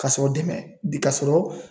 Ka sɔrɔ dɛmɛ ka sɔrɔ